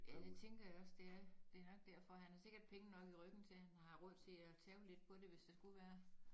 Ja det tænker jeg også det er det nok derfor han har nok penge nok i ryggen til at han har råd til at tabe lidt på det hvis det skulle være